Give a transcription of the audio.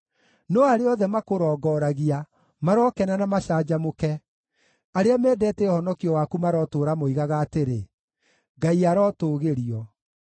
No arĩa othe makũrongoragia marokena na macanjamũke; arĩa mendete ũhonokio waku marotũũra moigaga atĩrĩ, “Ngai arotũgĩrio!”